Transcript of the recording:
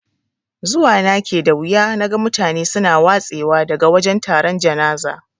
Zuwa na ke da wuya naga mutane suna watse wa daga wajan taron janaza.